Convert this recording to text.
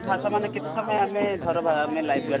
ଭାସମାନ କେତେ ସମୟ ଆମେ ଧର ବା live jacket